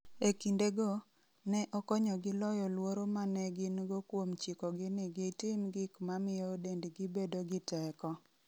E kindego, ne okonyogi loyo luoro ma ne gin-go kuom chikogi ni gitim gik ma miyo dendgi bedo gi teko.